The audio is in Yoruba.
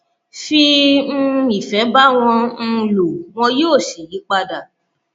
fi um ìfẹ bá wọn um lò wọn yóò sì yí padà